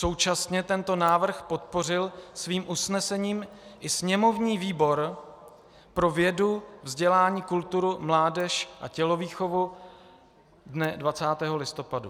Současně tento návrh podpořil svým usnesením i sněmovní výbor pro vědu, vzdělání, kulturu, mládež a tělovýchovu dne 20. listopadu.